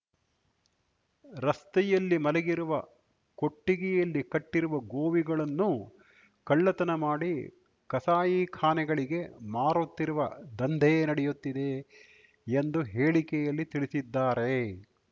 ರಸ್ತೆಯಲ್ಲಿ ಮಲಗಿರುವ ಕೊಟ್ಟಿಗೆಯಲ್ಲಿ ಕಟ್ಟಿರುವ ಗೋವಿಗಳನ್ನು ಕಳ್ಳತನ ಮಾಡಿ ಕಸಾಯಿಖಾನೆಗಳಿಗೆ ಮಾರುತ್ತಿರುವ ದಂಧೆ ನಡೆಯುತ್ತಿದೆ ಎಂದು ಹೇಳಿಕೆಯಲ್ಲಿ ತಿಳಿಸಿದ್ದಾರೆ